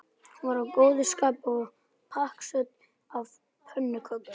Hún var í góðu skapi og pakksödd af pönnukökum.